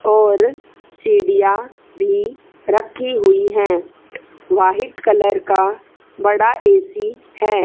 और सीढ़ियां भी रखी हुई है व्हाइट कलर का बड़ा ए_सी है।